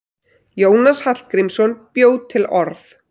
Jónas Hallgrímsson bjó til orð.